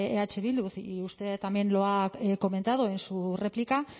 eh bildu y usted también lo ha comentado en su réplica